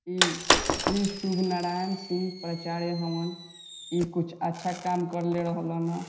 इ श्री शुभ नारायण सिंह प्रचार भवन इ कुछ अच्छा काम करला रहले ना।